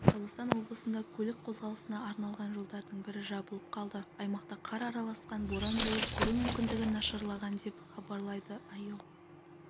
шығыс қазақстан облысында көлік қозғалысына арналған жолдардың бірі жабылып қалды аймақта қар араласқан боран болып көру мүмкіндігі нашарлаған деп хабарлайды іо